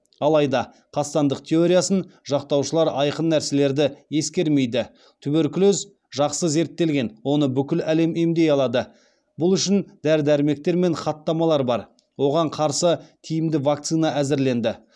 алайда қастандық теориясын жақтаушылар айқын нәрселерді ескермейді туберкулез жақсы зерттелген оны бүкіл әлем емдей алады бұл үшін дәрі дәрмектер мен хаттамалар бар оған қарсы тиімді вакцина әзірленді